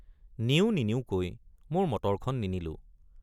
নিওঁ নিনিওঁকৈ মোৰ মটৰখন নিনিলোঁ।